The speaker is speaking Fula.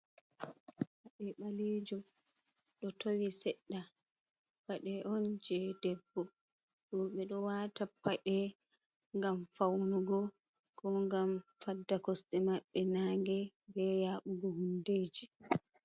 Pade balejum do towi sedda. Pade on je debbo. Robe do wata pade gam faunugo, ko gam fadda koste mabbe naage be yabugo hundeji.